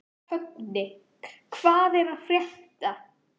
Högni, hvað er að frétta?